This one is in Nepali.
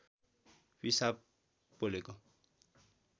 पिसाब पोलेको